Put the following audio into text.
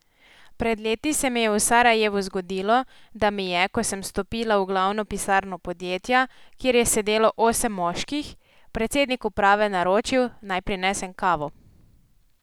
Pred leti se mi je v Sarajevu zgodilo, da mi je, ko sem stopila v glavno pisarno podjetja, kjer je sedelo osem moških, predsednik uprave naročil, naj prinesem kavo.